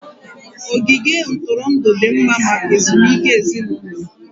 Ogige ntụrụndụ dị mma maka ezumike ezinụlọ